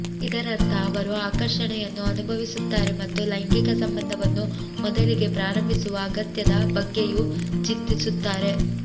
ಇದರರ್ಥ ಅವರು ಆಕರ್ಷಣೆಯನ್ನು ಅನುಭವಿಸುತ್ತಾರೆ ಮತ್ತು ಲೈಂಗಿಕ ಸಂಬಂಧವನ್ನು ಮೊದಲಿಗೆ ಪ್ರಾರಂಭಿಸುವ ಅಗತ್ಯದ ಬ್ಗಗೆಯೂ ಚಿಂತಿಸುತ್ತಾರೆ